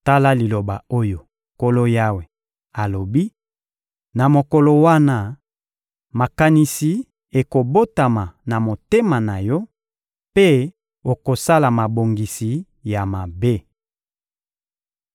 Tala liloba oyo Nkolo Yawe alobi: Na mokolo wana, makanisi ekobotama na motema na yo mpe okosala mabongisi ya mabe.